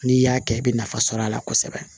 N'i y'a kɛ i bɛ nafa sɔrɔ a la kosɛbɛ